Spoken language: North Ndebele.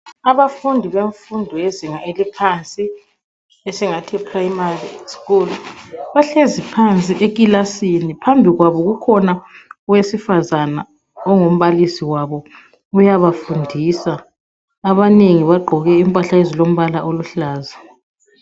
Abafundi bemfundo yezinga eliphansi esingathi primary school. Bahlezi phansi ekilasini, phambi kwabo kukhona owesifazana ongumbalisi wabo. Uyabafundisa. Abanengi bagqoke impahla ezilombala oluhlaza.